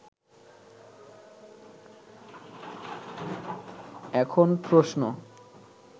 এখন প্রশ্ন